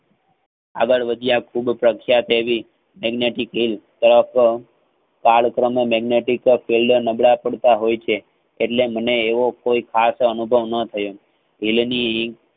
આગળ વધ્યા ખુબ પહેરી ધન્ય થઇ ગયું તરત કાળ કર્મ magnetic ફોલ્ડ નબળા પડતા હોય છે. એટલે મને એવો કોઈ ખાસ અભાવ ન થયો.